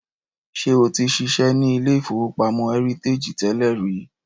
Ṣé o ti ṣiṣẹ́ ní ilé-ìfowópamọ́ Heritage tẹ́lẹ̀ rí?